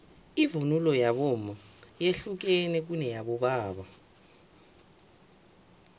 ivunulo yabomma yehlukene kuneyabobaba